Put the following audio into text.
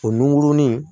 O nunkurunin